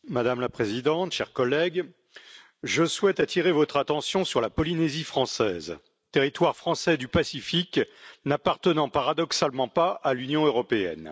Madame la Présidente, chers collègues, je souhaite attirer votre attention sur la Polynésie française, territoire français du Pacifique n'appartenant paradoxalement pas à l'Union européenne.